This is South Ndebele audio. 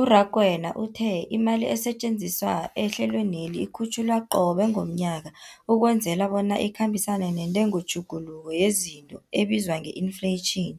U-Rakwena uthe imali esetjenziswa ehlelweneli ikhutjhulwa qobe ngomnyaka ukwenzela bona ikhambisane nentengotjhuguluko yezinto ebizwa nge-infleyitjhini,